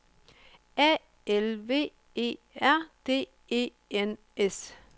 A L V E R D E N S